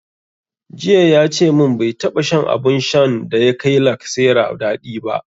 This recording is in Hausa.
Jiya yace mun bai taɓa shan abun shan da ya kai lacasera daɗi ba